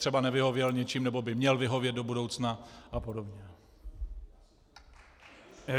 Třeba nevyhověl něčím nebo by měl vyhovět do budoucna a podobně.